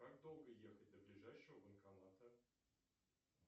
как долго ехать до ближайшего банкомата